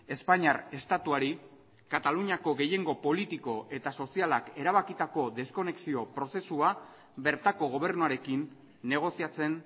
espainiar estatuari kataluniako gehiengo politiko eta sozialak erabakitako deskonekzio prozesua bertako gobernuarekin negoziatzen